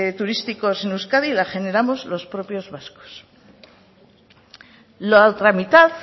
turísticos en euskadi la generamos los propios vascos la otra mitad